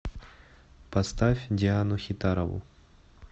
поставь диану хитарову